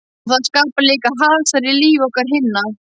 Og það skapar líka hasar í lífi okkar hinna.